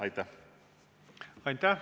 Aitäh!